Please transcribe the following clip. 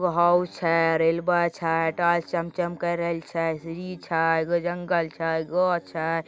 House छय रेलबा छय टाल्स चमचम कर रेहल छय सीरी छय एगो जंगल छय गो छय।